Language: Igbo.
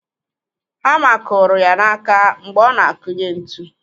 Hama kụrụ ya n'aka mgbe ọ na-akụnye ntu.